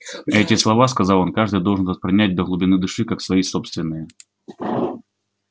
эти слова сказал он каждый должен воспринять до глубины души как свои собственные